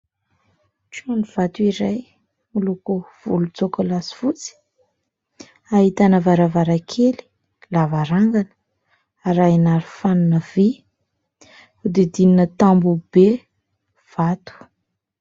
Tranovato iray miloko volontsokola sy fotsy ; ahitana varavarankely, lavarangana arahina aro fanina vy ; odidinina tamboho be vato.